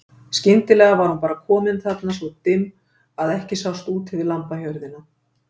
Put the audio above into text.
Skyndilega var hún bara komin þarna svo dimm að ekki sást út yfir lambahjörðina.